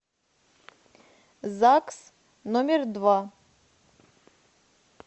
загс номер два